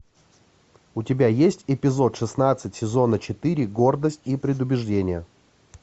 у тебя есть эпизод шестнадцать сезона четыре гордость и предубеждение